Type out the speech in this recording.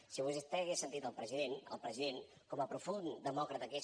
si vostè hagués sentit el president el president com a profund demòcrata que és